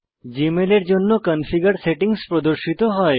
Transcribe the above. জীমেলের জন্য configure settings প্রদর্শিত হয়